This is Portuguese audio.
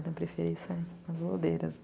Então eu preferi